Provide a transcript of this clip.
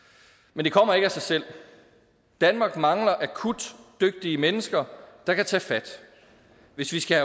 men det kommer ikke af sig selv danmark mangler akut dygtige mennesker der kan tage fat hvis vi skal